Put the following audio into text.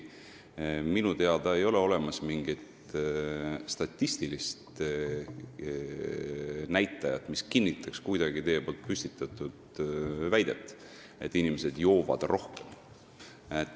Minu teada ei ole siiski olemas mingit statistilist näitajat, mis kinnitaks teie püstitatud väidet, et inimesed joovad rohkem.